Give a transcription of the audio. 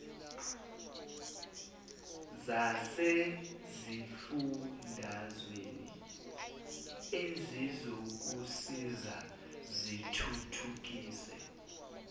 zasesifundazweni ezizokusiza zithuthukise